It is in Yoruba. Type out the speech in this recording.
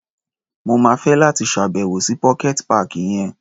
Mo máa fẹ́ láti ṣá̀bẹ̀wò sí pocket páàkì yẹn.